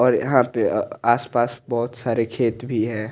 और यहा पे अ आस पास बहोत सारे खेत भी है।